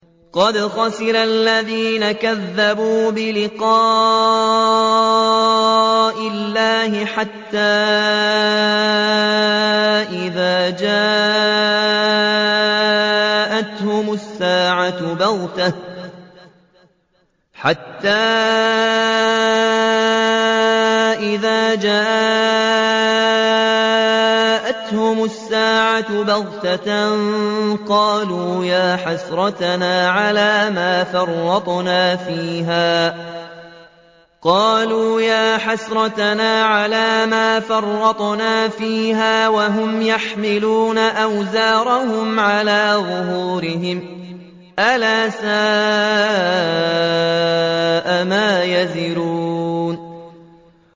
قَدْ خَسِرَ الَّذِينَ كَذَّبُوا بِلِقَاءِ اللَّهِ ۖ حَتَّىٰ إِذَا جَاءَتْهُمُ السَّاعَةُ بَغْتَةً قَالُوا يَا حَسْرَتَنَا عَلَىٰ مَا فَرَّطْنَا فِيهَا وَهُمْ يَحْمِلُونَ أَوْزَارَهُمْ عَلَىٰ ظُهُورِهِمْ ۚ أَلَا سَاءَ مَا يَزِرُونَ